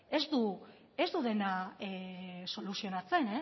ez du dena soluzionatzen